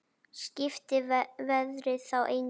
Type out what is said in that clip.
Skipti veðrið þá engu.